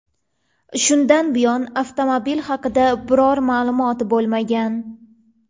Shundan buyon avtomobil haqida biror ma’lumot bo‘lmagan.